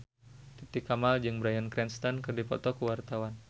Titi Kamal jeung Bryan Cranston keur dipoto ku wartawan